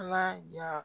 Ala ɲa